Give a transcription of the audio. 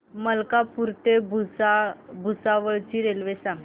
मलकापूर ते भुसावळ ची रेल्वे सांगा